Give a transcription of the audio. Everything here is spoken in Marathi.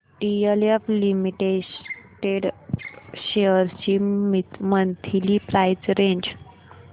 डीएलएफ लिमिटेड शेअर्स ची मंथली प्राइस रेंज